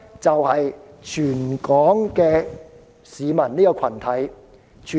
就是全港市民這個群體。